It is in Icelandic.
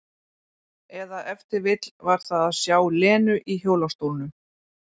Eða ef til vill var það að sjá Lenu í hjólastólnum.